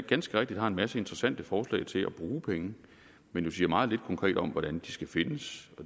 ganske rigtigt har en masse interessante forslag til at bruge penge men jo siger meget lidt konkret om hvordan de skal findes